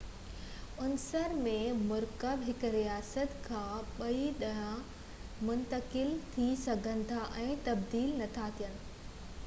عنصر ۽ مرڪب هڪ رياست کان ٻئي ڏانهن منتقل ٿي سگهن ٿا ۽ تبديل نٿا ٿين